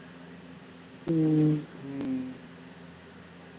உம்